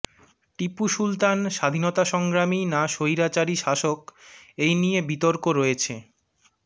টিপু সুলতান স্বাধীনতা সংগ্রামী না স্বৈরাচারী শাসক এই নিয়ে বিতর্ক রয়েছে